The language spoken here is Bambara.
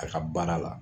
A ka baara la